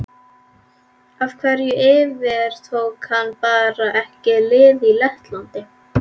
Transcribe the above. Af hverju yfirtók hann bara ekki lið í Lettlandi?